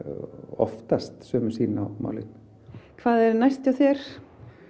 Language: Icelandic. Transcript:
oftast sömu sýn á málin hvað er næst hjá þér